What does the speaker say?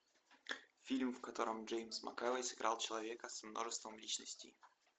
фильм в котором джеймс макэвой сыграл человека с множеством личностей